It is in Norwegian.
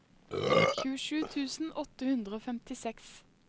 tjuesju tusen åtte hundre og femtiseks